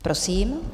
Prosím.